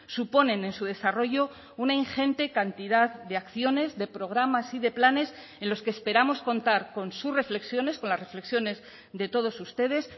suponen en su desarrollo una ingente cantidad de acciones de programas y de planes en los que esperamos contar con sus reflexiones con las reflexiones de todos ustedes